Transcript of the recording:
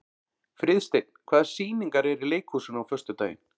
Friðsteinn, hvaða sýningar eru í leikhúsinu á föstudaginn?